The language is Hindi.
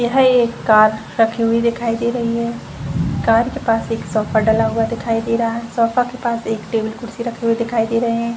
यह एक कर रखी हुई दिखाई दे रही है कार के पास एक सोफा डला हुआ दिखाई दे रहा है सोफा के पास एक टेबल कुर्सी दिखाई दे रहे हैं।